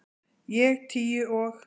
Ég tíu og